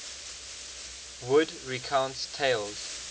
wood recounts tales